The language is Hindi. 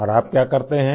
और आप क्या करते हैं